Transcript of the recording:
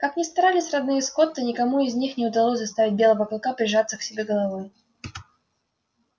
как ни старались родные скотта никому из них не удалось заставить белого клыка прижаться к себе головой